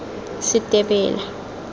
setebela